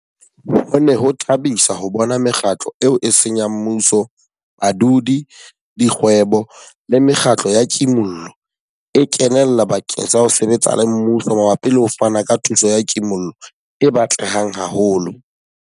Ho ne ho thabisa ho bona mekgatlo eo e seng ya mmuso, badudi, dikgwebo le mekgatlo ya kimollo e kenella bakeng sa ho sebetsa le mmuso mabapi le ho fana ka thuso ya kimollo e batlehang haholo.